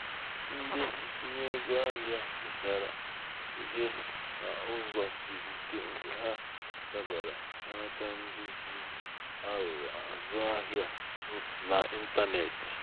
ndị um ntinye ego ahịa mụtara ihe n'ụzọ siri um ike mgbe ha dabara n'aka ndị ji aghụghọ azụ ahịa n'intanetị.